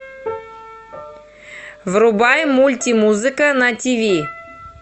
врубай мультимузыка на тв